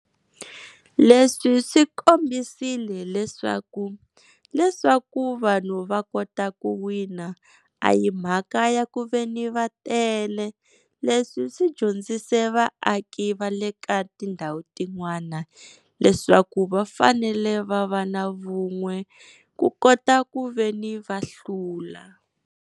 Leswi swi kombisile leswaku leswaku vanhu va kota ku wina a hi mhaka ya ku veni va tele, leswi swi dyondzise vaaki va le ka tindhawu tin'wani leswaku va fanele va va na vun'we ku kota ku veni va hlula.